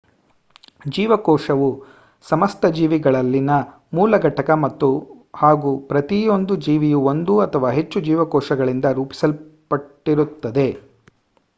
ಜೀವಕೋಶವು ಸಮಸ್ತ ಜೀವಿಗಳಲ್ಲಿನ ಮೂಲ ಘಟಕ ಹಾಗೂ ಪ್ರತಿಯೊಂದು ಜೀವಿಯೂ ಒಂದು ಅಥವಾ ಹೆಚ್ಚು ಜೀವಕೋಶಗಳಿಂದ ರೂಪಿಸಲ್ಪಟ್ಟಿರುತ್ತದೆ